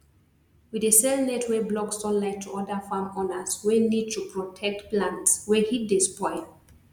we dey sell net wey block sunlight to oda farm owners wey need to protect plants wey heat dey spoil